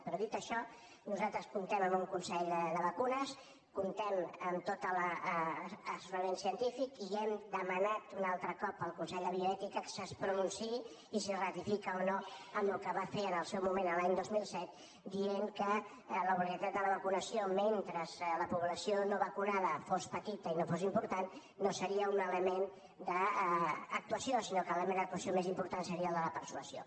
però dit això nosaltres comptem amb un consell de vacunes comptem amb tot l’assessorament científic i hem demanat un altre cop al consell de bioètica que es pronunciï i si ratifica o no el que va fer en el seu moment l’any dos mil set dient que l’obligatorietat de la vacunació mentre la població no vacunada fos petita i no fos important no seria un element d’actuació sinó que l’element d’actuació més important seria el de la persuasió